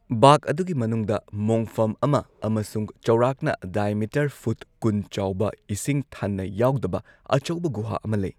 ꯕꯥꯒ ꯑꯗꯨꯒꯤ ꯃꯅꯨꯡꯗ ꯃꯣꯡꯐꯝ ꯑꯃ ꯑꯃꯁꯨꯡ ꯆꯥꯎꯔꯥꯛꯅ ꯗꯥꯏꯃꯤꯇꯔ ꯐꯨꯠ ꯀꯨꯟ ꯆꯥꯎꯕ ꯏꯁꯤꯡ ꯊꯟꯅ ꯌꯥꯎꯗꯕ ꯑꯆꯧꯕ ꯒꯨꯍꯥ ꯑꯃ ꯂꯩ꯫